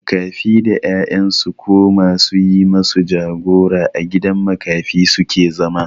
Makafi da 'ya'yan su ko ma su yi masu jagora a gidan makafi su ke zama.